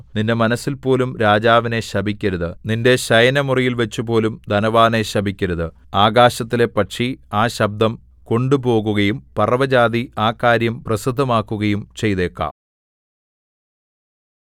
നിന്റെ മനസ്സിൽപോലും രാജാവിനെ ശപിക്കരുത് നിന്റെ ശയനമുറിയിൽ വച്ചുപോലും ധനവാനെ ശപിക്കരുത് ആകാശത്തിലെ പക്ഷി ആ ശബ്ദം കൊണ്ടുപോകുകയും പറവജാതി ആ കാര്യം പ്രസിദ്ധമാക്കുകയും ചെയ്തേക്കാം